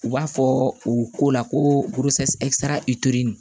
U b'a fɔ u ko la ko